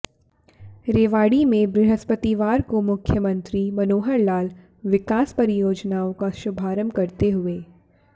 रेवाड़ी में बृहस्पतिवार को मुख्यमंत्री मनोहर लाल विकास परियोजनाओं का शुभारंभ करते हुए